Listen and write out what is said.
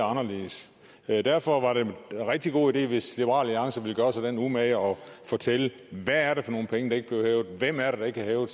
anderledes det vil derfor være en rigtig god idé hvis liberal alliance vil gøre sig den umage at fortælle hvad er det for nogle penge der ikke bliver hævet hvem er det der ikke har hævet